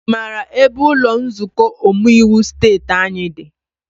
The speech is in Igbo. I maara ebe ụlọ nzukọ omeiwu steeti anyị dị?